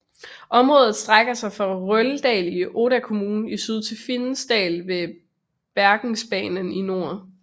Området strækker sig fra Røldal i Odda kommune i syd til Finsedalen ved Bergensbanen i nord